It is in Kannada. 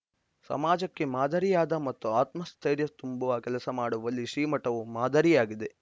ಸಮಾಜಕ್ಕೆ ಮಾದರಿಯಾದ ಮತ್ತು ಆತ್ಮಸ್ಥೈರ್ಯ ತುಂಬುವ ಕೆಲಸ ಮಾಡುವಲ್ಲಿ ಶ್ರೀಮಠವು ಮಾದರಿಯಾಗಿದೆ